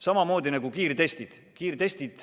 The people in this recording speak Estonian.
Samamoodi on kiirtestidega.